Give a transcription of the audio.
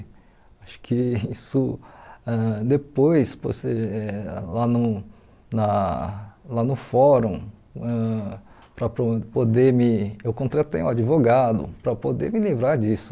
Acho que isso, ãh depois, poste eh lá no na lá no fórum, ãh para po poder me eu contratei um advogado para poder me livrar disso.